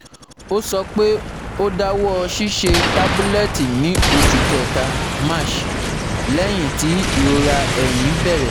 Ó sọ pé ó dáwọ́ ṣiṣẹ́ tabulẹti ní oṣù kẹta (March) lẹ́yìn tí irora ẹ̀yin bẹ̀rẹ̀